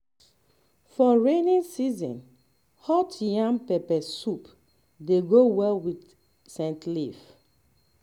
for rainy season hot yam pepper soup dey go well with scent leaf